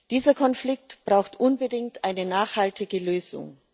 Dieser Konflikt braucht unbedingt eine nachhaltige Lösung.